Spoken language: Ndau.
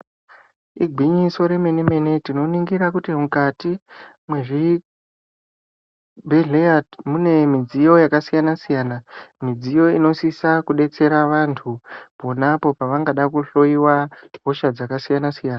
Igwinyiso remene mene tinoningira kuti mukati mwezvibhedhlera mune midziyo yakasiyana siyana , midziyo inosisa kudetsera vantu ponapo pavangada kuhloiwa hosha dzakasiyana siyana.